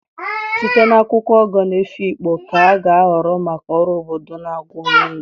Site na akwụkwọ Ogo nke Efikpo ka a ga-ahọrọ maka ọrụ obodo na àgwà onye ndu.